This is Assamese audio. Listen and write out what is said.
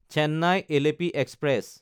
চেন্নাই–এলেপি এক্সপ্ৰেছ